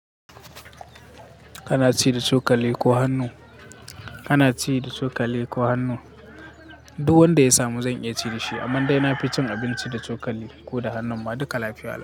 Kana ci da cokali ko hannu? Kana ci da cokali ko hannu? Duk wanda ya samu zan iya ci da shi, amma dai na fi cin abinci da cokali ko da hannun ma duka lafiya.